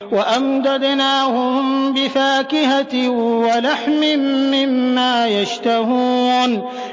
وَأَمْدَدْنَاهُم بِفَاكِهَةٍ وَلَحْمٍ مِّمَّا يَشْتَهُونَ